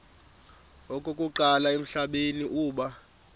okokuqala emhlabeni uba